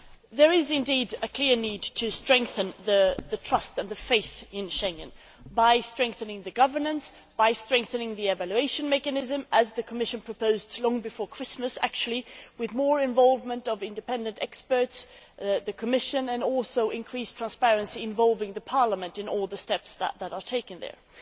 There is indeed a clear need to strengthen the trust and faith in Schengen by strengthening governance and by strengthening the evaluation mechanism as the Commission proposed long before Christmas with more involvement of independent experts and the Commission, and also increased transparency involving Parliament in all the steps that are taken there.